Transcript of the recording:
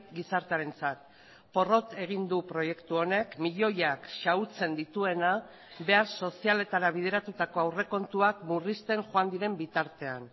gizartearentzat porrot egin du proiektu honek milioiak xahutzen dituena behar sozialetara bideratutako aurrekontuak murrizten joan diren bitartean